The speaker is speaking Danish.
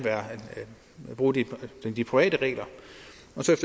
bruge de private regler